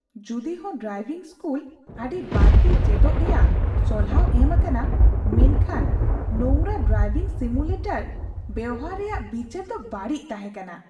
ᱡᱩᱫᱤᱦᱚᱸ driving school ᱟᱹᱰᱤ ᱵᱟᱹᱲᱛᱤ ᱪᱮᱪᱚᱜ ᱨᱮᱭᱟᱜ ᱥᱚᱞᱦᱟᱣ ᱮᱢ ᱟᱠᱟᱱᱟ, ᱢᱮᱱᱠᱷᱟᱱ ᱱᱚᱝᱨᱟ ᱰᱨᱤᱵᱷᱤᱝ ᱥᱤᱢᱩᱞᱤᱴᱚᱨ ᱵᱮᱶᱦᱟᱨ ᱨᱮᱭᱟᱜ ᱵᱤᱪᱟᱹᱨ ᱫᱚ ᱵᱟᱹᱲᱤᱡ ᱛᱟᱦᱮᱸ ᱠᱟᱱᱟ ᱾